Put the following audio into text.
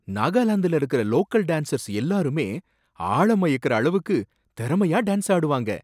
நாகாலாந்துல இருக்கற local dancers எல்லாருமே ஆள மயக்கற அளவுக்கு திறமையா டான்ஸ் ஆடுவாங்க.